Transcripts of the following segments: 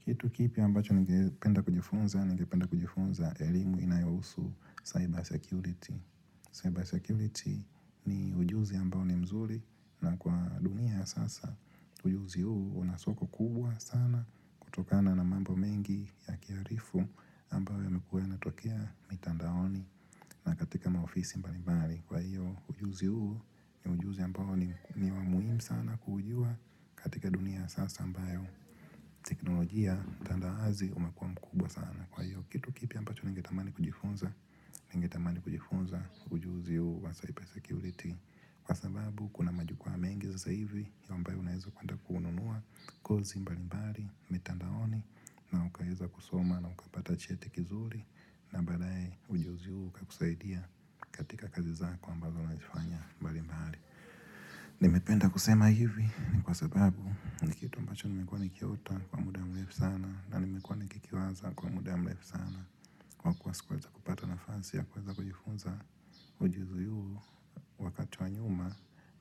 Kitu kipya ambacho ningependa kujifunza, ningependa kujifunza elimu inayohusu cyber security. Cyber security ni ujuzi ambao ni mzuri na kwa dunia ya sasa. Ujuzi huu una soko kubwa sana kutokana na mambo mengi ya kiarifu ambayo yamekuwa yanatokea mitandaoni na katika maofisi mbalimbali. Kwa hiyo ujuzi huu ni ujuzi ambao ni wa muhimu sana kuujua katika dunia ya sasa ambayo. Teknolojia tanda wazi umekua mkubwa sana kwa hiyo Kitu kipya ambacho ningetamani kujifunza Ningetamani kujifunza ujuzi huu wa cyber security Kwa sababu kuna majukua mengi sasa hivi ambayo unaweza kwenda kununua kozi mbali mbali mitandaoni na ukaweza kusoma na ukapata cheti kizuri na baadaye ujuzi huu ukakusaidia katika kazi zako ambazo unazifanya mbali mbali Nimependa kusema hivi ni kwa sababu Nikitu ambacho nimekuwa nikiota kwa muda ya mrefu sana na nimekuwa nikikiwaza kwa muda ya mrefu sana Kwa kuwa sikuweza kupata nafasi ya kuweza kujifunza ujuzi huu wakati wa nyuma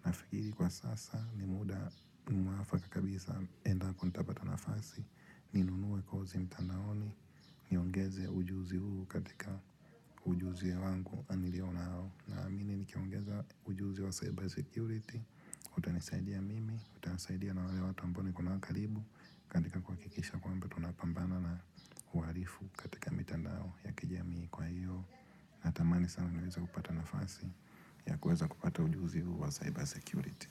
Nafikiri kwa sasa ni muda mwafaka kabisa endapo nitapata nafasi Ninunue kozi mtandaoni, niongeze ujuzi huu katika ujuzi wangu nilionao naamini nikiongeza ujuzi wa cyber security, utanisaidia mimi, utanisaidia na wale watu niko nao karibu katika kuhakikisha kwamba tunapambana na uharifu katika mitandao ya kijamii kwa hiyo na tamani sana niweza kupata nafasi ya kuweza kupata ujuzi wa cyber security.